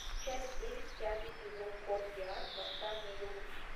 часть девять пятый сезон код гиас восстание лелуша